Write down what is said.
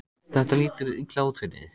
Þetta lítur illa út fyrir þig